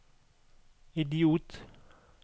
idiot